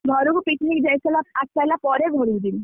ଘରକୁ picnic ଯାଇସାଇଲା ଆସିସାଇଲା ପରେ ଘରକୁ ଯିବି।